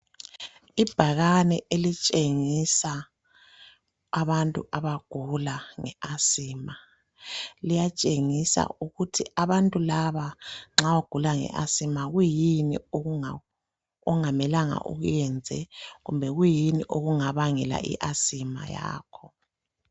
Ibhakani elitshengisa abantu abagula nge asima, liyatshengisa ukuthi abantu laba nxa ugula nge asima kuyini okungamelanga ukwenze, kumbe kuyini okungabangela i asima yabo.